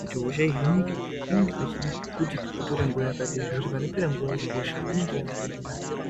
kuti hosha ihinike panenge pachide kuti utore nguva yakadini. Zvekuti panopera nguvayo hosha inonga yakutohinika.